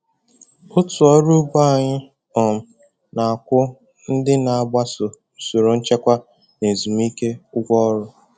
Otu ọrụ ugbo anyị um na-akwụ ndị na-agbaso usoro nchekwa na ezumike ụgwọ ọrụ.